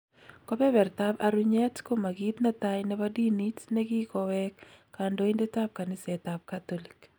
Kobebertab arunyet koma kiit netai nebo diniit ne kikoweek kandoindet ab kaniseetab katolik